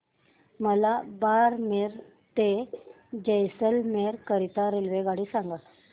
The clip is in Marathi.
मला बारमेर ते जैसलमेर करीता रेल्वेगाडी सांगा